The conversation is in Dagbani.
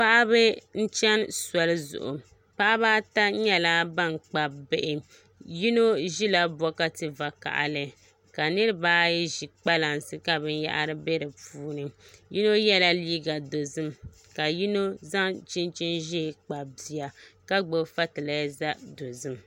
Paɣiba n chɛni soli zuɣu paɣaba ata yɛla bani Kpabi bihi yino zila bɔkati vakahali ka niriba ayi zi kpalansi ka bini yahari bɛ di puuni yino yiɛla liiga dozim ka yino zaŋ chinchini zɛɛ Kpabi bia ka gbubi fatilɛza dozim.